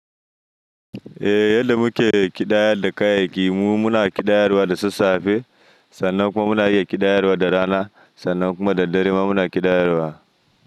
Eh, yadda muke ƙidayar da kayayyaki. Mu muna ƙidayar wa da sassafe, sannan kuma muna iya ƙidayar wa da rana, sannan kuma da dare ma muna ƙidayar wa.